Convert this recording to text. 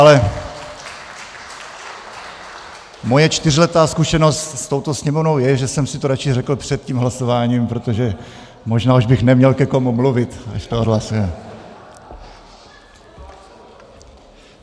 Ale má čtyřletá zkušenost s touto Sněmovnou je, že jsem si to raději řekl před tím hlasováním, protože možná už bych neměl ke komu mluvit, až to odhlasujeme.